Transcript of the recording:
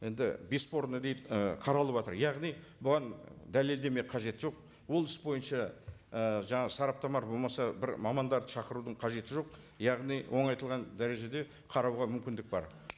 енді бесспорно дейді ы қаралыватыр яғни бұған дәлелдеме қажеті жоқ ол іс бойынша і жаңа сараптама болмаса бір мамандарды шақырудың қажеті жоқ яғни оңайтылған дәрежеде қарауға мүмкіндік бар